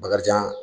Bakarijan